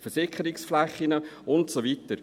Versickerungsflächen und so weiter?